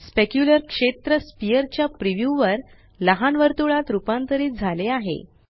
specular क्षेत्र sphere च्या preview वर लहान वर्तुळात रुपांतरित झाले आहे